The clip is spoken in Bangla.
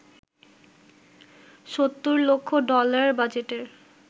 ৭০ লক্ষ ডলার বাজেটের